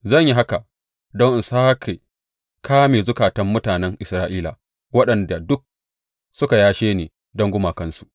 Zan yi haka don in sāke ƙame zukatan mutanen Isra’ila, waɗanda duk suka yashe ni don gumakansu.’